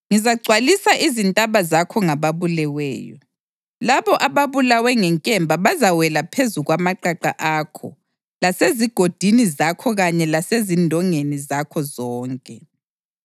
Ngizagcwalisa izintaba zakho ngababuleweyo; labo ababulawe ngenkemba bazawela phezu kwamaqaqa akho lasezigodini zakho kanye lasezindongeni zakho zonke.